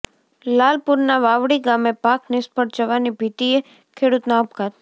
લાલપુરના વાવડી ગામે પાક નિષ્ફળ જવાની ભીતિએ ખેડૂતનો આપઘાત